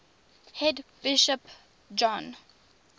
head bishop john